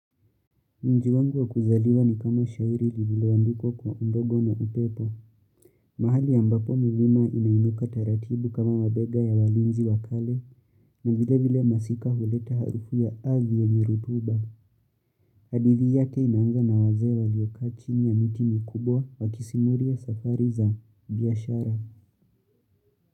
Mji wangu wa kuzaliwa ni kama shairi lililoandikwa kwa undogo na upepo. Mahali ambapo milima inainuka taratibu kama wabega ya walinzi wakale na vile vile masika huleta harufu ya arthi yenye rutuba. Hadithi yake inaanza na wazee waliokaa chini ya miti mikubwa wakisimuria safari za biashara.